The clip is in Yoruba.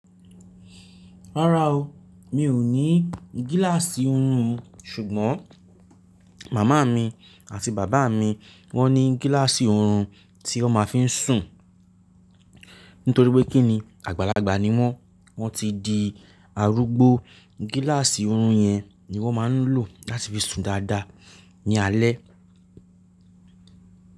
Rárá o, mi ò ní gíláàsì oorun, ṣùgbọ́n màmá mi àti bàbá mi wọ́n ní gíláàsì oorun tí wọ́n ma ń fi sùn. Nítorí pé kí ni àgbàlagbà ni wọ́n, wọ́n ti di arúgbó, gíláàsì oorun yẹn ni wọ́n máa ń lò láti fi sùn dáadáa ní alẹ.